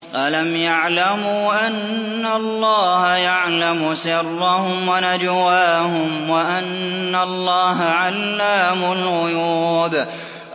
أَلَمْ يَعْلَمُوا أَنَّ اللَّهَ يَعْلَمُ سِرَّهُمْ وَنَجْوَاهُمْ وَأَنَّ اللَّهَ عَلَّامُ الْغُيُوبِ